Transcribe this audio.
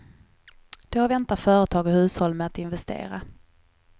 Då väntar företag och hushåll med att investera.